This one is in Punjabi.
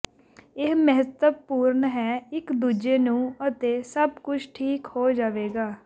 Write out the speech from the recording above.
ਇਹ ਮਹੱਤਵਪੂਰਣ ਹੈ ਇੱਕ ਦੂਜੇ ਨੂੰ ਅਤੇ ਸਭ ਕੁਝ ਠੀਕ ਹੋ ਜਾਵੇਗਾ